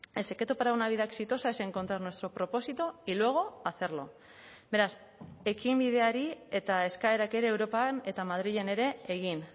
el secreto para una vida exitosa es encontrar nuestro propósito y luego hacerlo beraz ekinbideari eta eskaerak ere europan eta madrilen ere egin